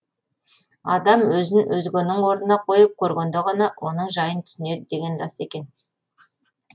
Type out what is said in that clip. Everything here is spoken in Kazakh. адам өзін өзгенің орнына қойып көргенде ғана оның жайын түсінеді деген рас екен